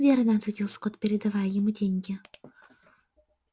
верно ответил скотт передавая ему деньги